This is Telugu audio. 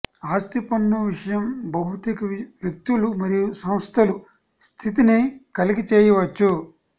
ఆస్తి పన్ను విషయం భౌతిక వ్యక్తులు మరియు సంస్థలు స్థితిని కలిగి చేయవచ్చు